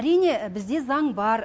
әрине бізде заң бар